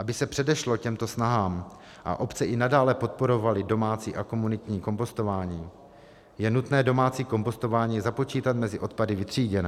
Aby se předešlo těmto snahám a obce i nadále podporovaly domácí a komunitní kompostování, je nutné domácí kompostování započítat mezi odpady vytříděné.